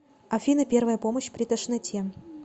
афина первая помощь при тошноте